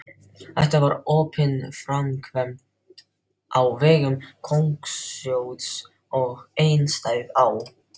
Þetta var opinber framkvæmd á vegum konungssjóðs og einstæð á